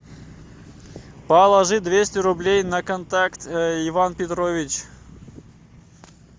положи двести рублей на контакт иван петрович